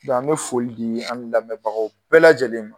Dɔ an bɛ foli di a' ni lamɛbagaw bɛɛ lajɛlen ma